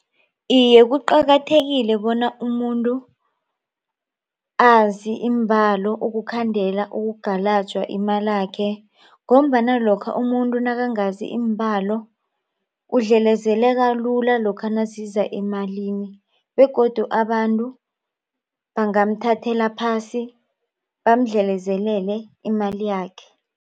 Iye, kuqakathekile bona umuntu azi iimbalo ukukhandela ukugalajwa imalakhe. Ngombana lokha umuntu nakangazi iimbalo udlelezeleka lula lokha nasiza emalini begodu abantu bangamthathela phasi bamdlelezele imali yakhe.